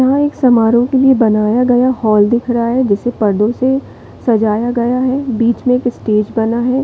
यहाँ एक समारोह के लिए बनाया गया हॉल दिख रहा है जिसे पर्दो से सजाया गया है बीच में एक स्टेज बना है।